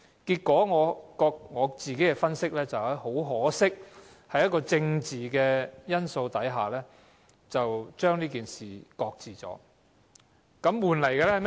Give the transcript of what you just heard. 根據我自己的分析，很可惜，在政治因素下，這件事被擱置。